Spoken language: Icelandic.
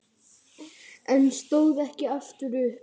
En stóð ekki upp aftur.